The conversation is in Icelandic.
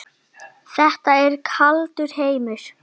Þetta er kaldur heimur.